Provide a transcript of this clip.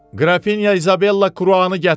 Qrafinya İzabella Kruanı gətirin!